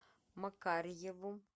макарьеву